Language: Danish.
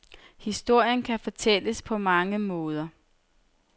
Historien kan fortælles på mange måder.